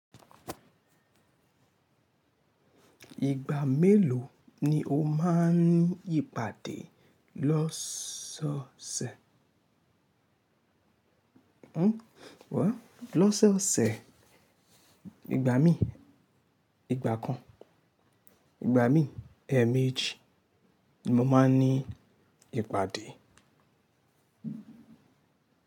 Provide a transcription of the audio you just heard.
Ìgbà mélòó ni o máa n ní ipàdé lọ́sọ̀ọ̀sẹ̀? Lọ́sọ̀ọ̀sẹ̀, ìgbà mí i, ìgbà kan, ìgbà mí i, ẹẹ̀mèjì ni mo máa n ní ìpàdé.